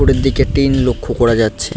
উপরের দিকে টিন লক্ষ্য করা যাচ্ছে।